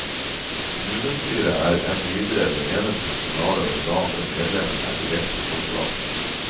Kommunestyret er enn videre det eneste kommunale organ der medlemmene er direkte folkevalgt.